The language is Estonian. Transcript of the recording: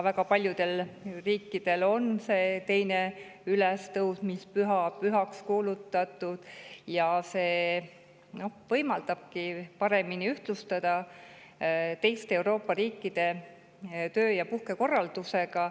Väga paljudel riikidel on 2. ülestõusmispüha kuulutatud pühaks ja see võimaldabki meil paremini ühtlustuda teiste Euroopa riikide töö‑ ja puhkekorraldusega.